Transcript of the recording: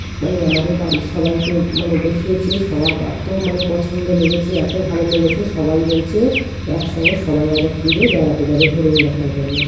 মানে আমাদের বাড়ির সবাইকে মানে দেখিয়েছে সবার এত মানে পছন্দ লেগেছে এত ভালো লেগেছে সবাই বলছে একসঙ্গে সবাই একবার ট্যুর -এ বেড়াতে যাবে হরিণ দেখার জন্য।